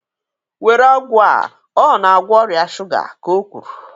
Were ọgwụ a ọ na-agwọ ọrịa shuga ka o kwuru.!